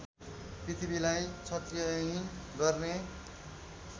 पृथ्वीलाई क्षत्रियहीन गर्ने